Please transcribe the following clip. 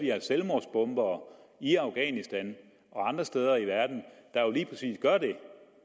der er selvmordsbombere i afghanistan og andre steder i verden